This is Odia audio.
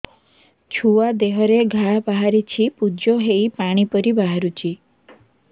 ଛୁଆ ଦେହରେ ଘା ବାହାରିଛି ପୁଜ ହେଇ ପାଣି ପରି ବାହାରୁଚି